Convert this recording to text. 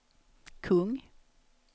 kung